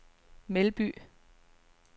Melby